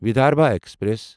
Vidarbha express